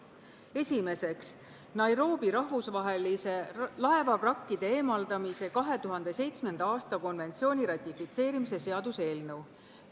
Esiteks, Nairobi rahvusvahelise laevavrakkide eemaldamise 2007. aasta konventsiooni ratifitseerimise seaduse eelnõu.